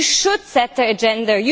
You should set the agenda.